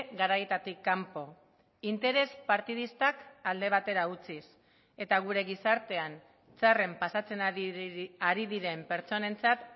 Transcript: garaietatik kanpo interes partidistak alde batera utziz eta gure gizartean txarren pasatzen ari diren pertsonentzat